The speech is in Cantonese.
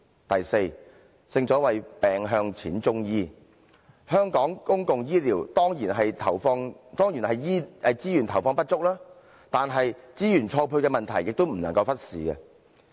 第四，正所謂病向淺中醫，香港公共醫療的資源投放當然是不足，但資源錯配的問題也不能忽視。